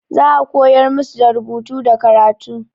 Za a koyar musu da rubutu da karatu.